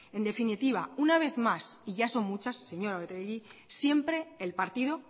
en definitiva una vez más y ya son muchas señora oregi siempre el partido